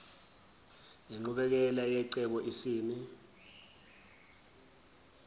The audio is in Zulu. nenqubekela yecebo isimi